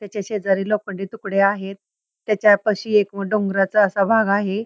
त्याच्या शेजारी लोखंडी तुकडे आहेत त्याच्यापाशी एक डोंगराचा असा भाग आहे.